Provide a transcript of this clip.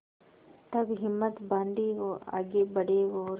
तब हिम्मत बॉँधी आगे बड़े और